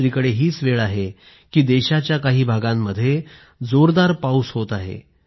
दुसरीकडे हीच वेळ आहे की देशाच्या काही भागांमध्ये जोरदार पाऊस होत आहे